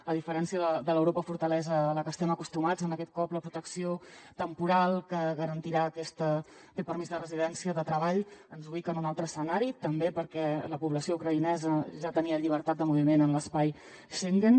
a diferència de l’europa fortalesa a la que estem acostumats aquest cop la protecció temporal que garantirà aquest permís de residència de treball ens ubica en un altre escenari també perquè la població ucraïnesa ja tenia llibertat de moviment en l’espai schengen